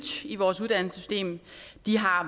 i vores uddannelsessystem de har